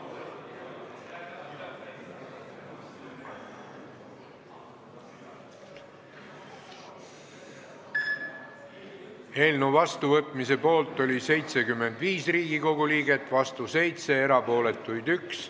Hääletustulemused Eelnõu seadusena vastuvõtmise poolt oli 75 Riigikogu liiget, vastu oli 7, erapooletuks jäi 1.